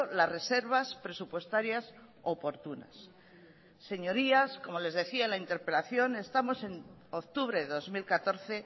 las reservas presupuestarias oportunas señorías como les decía en la interpelación estamos en octubre dos mil catorce